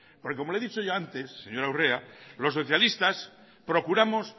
porque como le he dicho yo antes señora urrea los socialistas procuramos